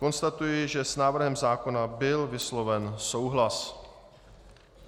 Konstatuji, že s návrhem zákona byl vysloven souhlas.